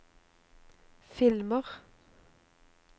filmer